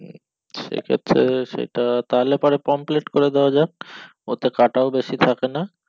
হম সেই ক্ষেত্রে সেটা তাহলে পরে পোমপ্লেটে করে দিয়া যাক ওতে কাটাও বেশি থাকেনা